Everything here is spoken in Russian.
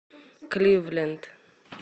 кливленд